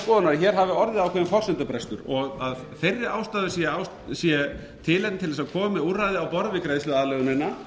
að hér hafi orðið forsendubrestur og að þeirri ástæðu sé tilefni til að koma úrræði á borð við greiðsluaðlögunina